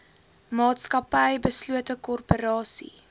maatskappy beslote korporasie